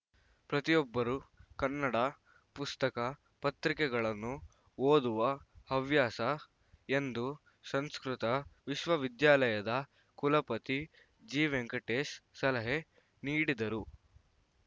ಪ್ರತಿಯೊಬ್ಬರು ಕನ್ನಡ ಪುಸ್ತಕ ಪತ್ರಿಕೆಗಳನ್ನು ಓದುವ ಹವ್ಯಾಸ ಎಂದು ಸಂಸ್ಕೃತ ವಿಶ್ವವಿದ್ಯಾಲಯದ ಕುಲಪತಿ ಜಿವೆಂಕಟೇಶ್‌ ಸಲಹೆ ನೀಡಿದರು